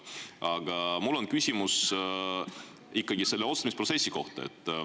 Aga mul on ikkagi küsimus otsustamisprotsessi kohta.